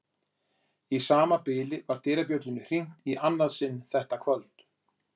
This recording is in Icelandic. Í sama bili var dyrabjöllunni hringt í annað sinn þetta kvöld.